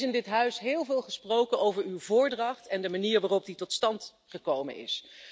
Er is in dit Parlement heel veel gesproken over uw voordracht en de manier waarop die tot stand gekomen is.